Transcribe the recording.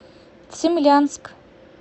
цимлянск